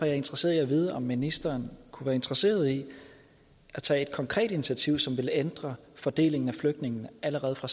jeg interesseret i at vide om ministeren kunne være interesseret i at tage et konkret initiativ som vil ændre fordelingen af flygtninge allerede for